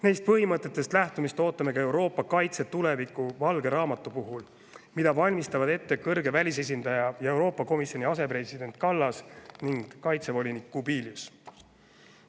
Neist põhimõtetest lähtumist ootame ka Euroopa kaitse tuleviku valge raamatu puhul, mida valmistavad ette kõrge välisesindaja ja Euroopa Komisjoni asepresident Kallas ning kaitsevolinik Kubilius.